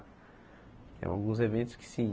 Tem alguns eventos que sim.